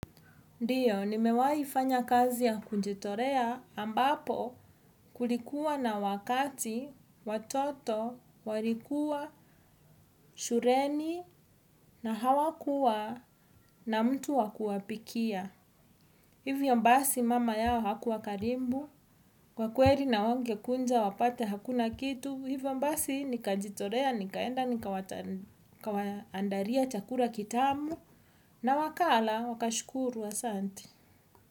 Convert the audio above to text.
Ndio, nimewai fanya kazi ya kujitolea ambapo kulikuwa na wakati watoto walikuwa shuleni na hawakuwa na mtu wa kuwapikia. Hivyo basi mama yao hakuwa karibu, kwa kweri na hawangekuja wapate hakuna kitu, hivyo basi nikajitolea, nikaenda, nikawaandalia chakula kitamu na wakala wakashukuru, asanti.